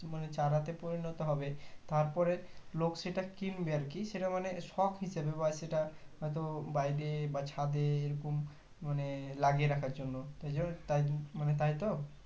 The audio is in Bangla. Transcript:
মানে চারাতে পরিণত হবে তারপরে লোক সেটা কিনবে আরকি সেটা মানে শখ হিসাবে বা সেটা হয় তো বাড়িতে বা ছাদে এইরকম মানে লাগিয়ে রাখার জন্য মানে তাইতো